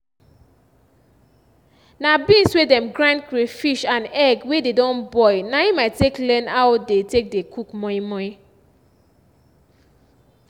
na beans wey dem grind crayfish and egg wey dey don boil na im i take learn how dey take dey cook moi-moi